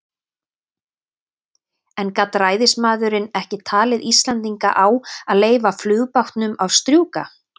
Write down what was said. En gat ræðismaðurinn ekki talið Íslendinga á að leyfa flugbátnum að strjúka?